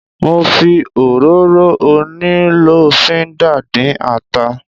Mo fi òróró onílọ́fínńdà dín ata.